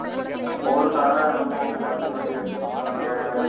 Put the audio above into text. ஒவ்வொறு car ஆ என்னமோ மாத்தி மாத்தி வச்சிட்டு இருப்பாங்க.